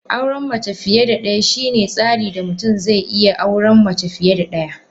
Auren mace fiye da daya shine tsarin da mutum zai iya auren mace fiye da daya.